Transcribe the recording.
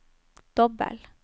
dobbel